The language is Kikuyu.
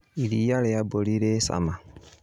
Iria rĩa mbũri rĩ cama